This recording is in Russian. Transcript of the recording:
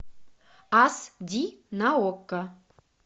ас ди на окко